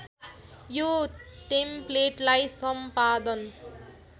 यो टेम्प्लेटलाई सम्पादन